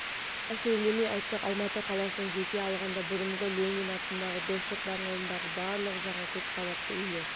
әсірелемей айтсақ алматы қаласының жеке алғанда бұрынғы ленин атындағы достық даңғылындағы барлық жаңа көп қабатты үйлер